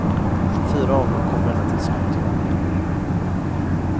Fyra av dem kom relativt snabbt igång igen.